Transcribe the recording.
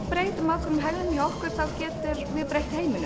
breytum ákveðinni hegðun hjá okkur getum við breytt heiminum